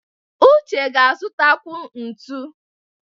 Uche ga-azụtakwu ntu.